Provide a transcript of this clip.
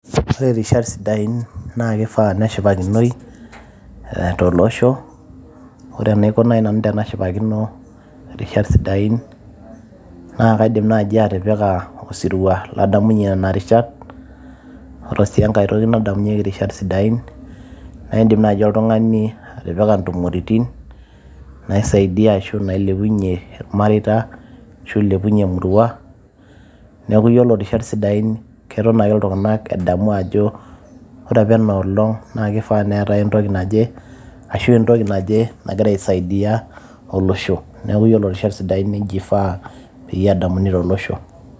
ore rishat sidain naa kifaa neshipakinoi eh, tolosho ore enaiko naaji nanu tenashipakino irishat sidain naa kaidim naaji atipika osirua ladamunyie nana rishat ore sii enkae toki nadamunyieki irishat sidain naa indim naaji oltung'ani atipika intumoritin naisaidia ashu nailepunyie irmareita ashu ilepunyie emurua neeku yiolo irishat sidain keton ake iltung'anak edamu ajo ore apa enoolong naa kifaa neetae entoki naje ashu entoki naje nagira aisaidia olosho neeku yiolo rishat sidain nejia ifaa peyie edamuni tolosho.